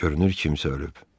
Görünür kimsə ölüb.